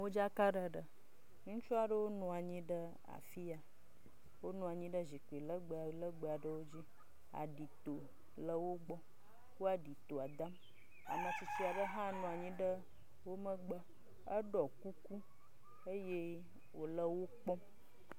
Modzakaɖeɖe. Ŋutsu aɖewo nɔ anyi ɖe afi ya. Wonɔ anyi ɖe zikpi lɛgbɛlɛgbɛ aɖewo dzi. aɖito le wogbɔ. Wo aɖitoa dam. Ame tsutsi aɖe hã nɔ anyi ɖe wo megbe eɖɔ kuku eye wòle wo kpɔm.